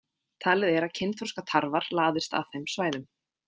Talið er að kynþroska tarfar laðist að þeim svæðum.